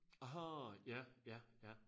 Aha ja ja ja